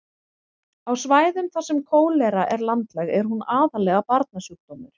á svæðum þar sem kólera er landlæg er hún aðallega barnasjúkdómur